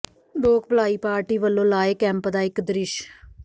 ਲੋਕ ਭਲਾਈ ਪਾਰਟੀ ਵੱਲੋਂ ਲਾਏ ਕੈਂਪ ਦਾ ਇਕ ਦ੍ਰਿਸ਼